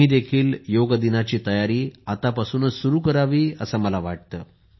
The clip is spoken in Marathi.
तुम्हीही योग दिनाची तयारी आत्तापासूनच सुरू करावी असे मला वाटते